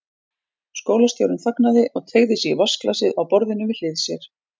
Skólastjórinn þagnaði og teygði sig í vatnsglasið á borðinu við hlið sér.